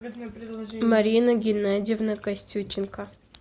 марина геннадьевна костюченко